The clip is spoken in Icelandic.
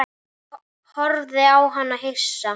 Ég horfði á hann hissa.